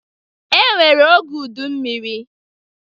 E nwere oge udummiri.